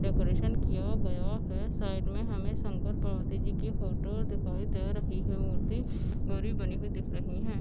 Decoration किया गया है साइड मे हमे शंकर पार्वती जी की फोटो दिखाई दे रही है मूर्ति गौरी बनी हुई दिख रही है।